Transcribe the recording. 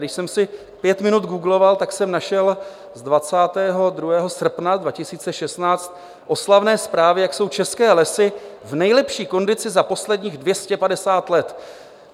Když jsem si pět minut googloval, tak jsem našel z 22. srpna 2016 oslavné zprávy, jak jsou české lesy v nejlepší kondici za posledních 250 let.